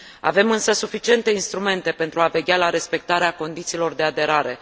Avem, însă, suficiente instrumente pentru a veghea la respectarea condițiilor de aderare.